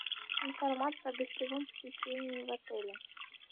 информация о гостевом посещении в отеле